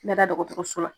N bɛ da dɔgɔtɔrɔso la